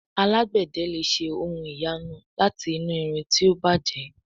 Alágbède lẹ ṣe ohùn ìyanu láti inú ìrìn tí o bàjé